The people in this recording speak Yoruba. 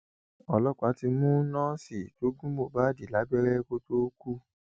ọlọpàá ti mú nọọsì tó gún mohbad lábẹrẹ kó tóó kú